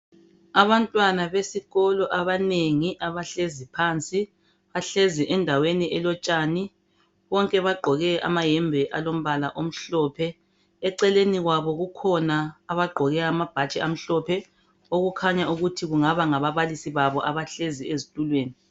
Abantwana besikolo abanengi abahlezi phansi, bahlezi endaweni elotshani. Bonke bagqoke amayembe alombala omhlophe, eceleni kwabo kukhona abagqoke amabhatshi amhlophe okukhanya ukuthi kungaba ngababalisi babo abahlezi ezitulweni.